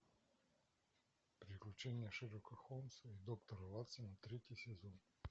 приключение шерлока холмса и доктора ватсона третий сезон